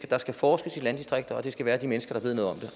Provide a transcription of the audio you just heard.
der skal forskes i landdistrikter og det skal gøres af de mennesker